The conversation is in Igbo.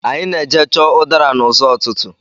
Anyị na-eje chọọ udara n'ụzọ́ ụtụtụ.